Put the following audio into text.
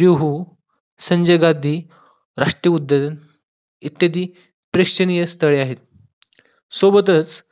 जुहू, संजय गांधी राष्ट्रीय उद्यान, इत्यादी प्रेक्षणीय स्थळे आहेत, सोबतच